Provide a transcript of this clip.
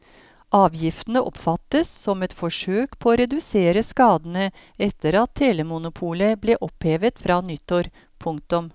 Avgiftene oppfattes som et forsøk på å redusere skadene etter at telemonopolet ble opphevet fra nyttår. punktum